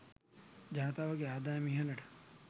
ජනතාවගේ ආදායම ඉහළට